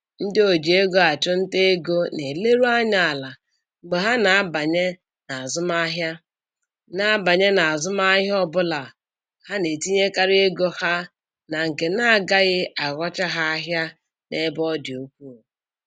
Ndị o ji ego achụnta ego na-eleru anya ala mgbe ha na-abanye n'azụmahịa na-abanye n'azụmahịa ọbụla, ha na-etinyekarị ego ha na nke na agaghị aghọcha ha ahịa n'ebe ọ dị ukwuu